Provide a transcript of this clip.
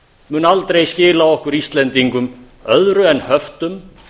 mun aldrei skila okkur íslendingum öðru en höftum